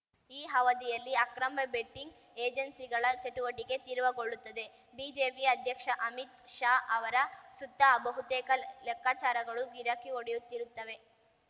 ಈ ಅವಧಿಯಲ್ಲಿ ಅಕ್ರಮ ಬೆಟ್ಟಿಂಗ್‌ ಏಜೆನ್ಸಿಗಳ ಚಟುವಟಿಕೆ ತೀವ್ರಗೊಳ್ಳುತ್ತದೆ ಬಿಜೆಪಿ ಅಧ್ಯಕ್ಷ ಅಮಿತ್‌ ಶಾ ಅವರ ಸುತ್ತ ಬಹುತೇಕ ಲೆಕ್ಕಾಚಾರಗಳು ಗಿರಕಿ ಹೊಡೆಯುತ್ತಿರುತ್ತವೆ